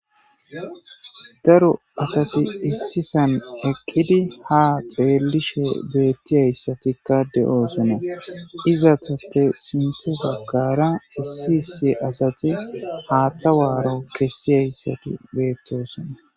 Daro asati issisan ekkidi ha xeellishe beettiyayssatikka de7oosona iza tappe sinte baggara issi issi asati haaththa waaro kessiyayssati beettosona